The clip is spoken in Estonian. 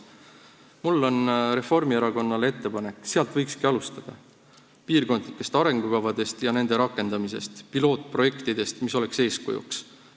Mul on Reformierakonnale ettepanek: sealt võikski alustada, piirkondlikest arengukavadest ja nende rakendamisest, pilootprojektidest, mis oleksid eeskujuks.